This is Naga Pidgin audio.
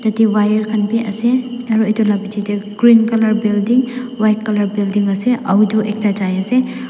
yadey wire khan beh ase aro etu la bechey tey green colour building white colour building ase aotu ekta jai ase.